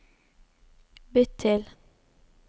bytt til